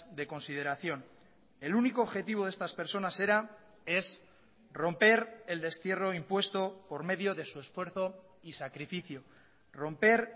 de consideración el único objetivo de estas personas era es romper el destierro impuesto por medio de su esfuerzo y sacrificio romper